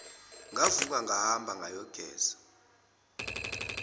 ngavuka ngahamba ngayogeza